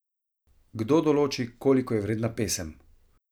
Kdo določi, koliko je vredna pesem?